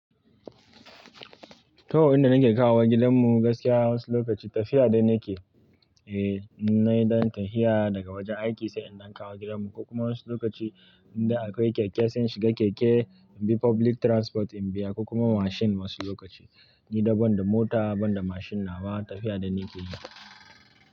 Toh, inda nake kawo gidan mu gaskiya wasu lokaci tafiya dai nake, eh, nai don tafiya daga wajen aiki sai in daukawo gidan mu. Kokuma wasu lokaci inda akwai keke sai in shiga keke, inbi public transport in biya, kokuma mashin wasu lokaci. Ni da ban da mota, ban da mashin nawa tafiya dai nake yi.